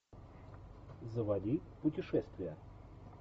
заводи путешествие